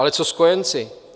Ale co s kojenci?